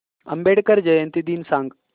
आंबेडकर जयंती दिन सांग